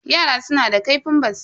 Yara suna da ƙaifin basira.